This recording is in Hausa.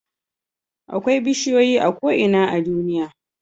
Akwai bishiyoyi a ko'ina a duniya